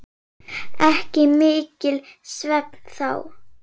Ekki mikill svefn þá.